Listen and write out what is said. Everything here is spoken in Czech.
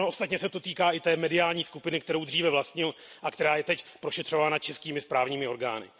Ono se to ostatně týká i té mediální skupiny, kterou dříve vlastnil a která je teď prošetřována českými správními orgány.